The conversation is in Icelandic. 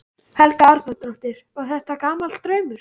Helga Arnardóttir: Og er þetta gamall draumur?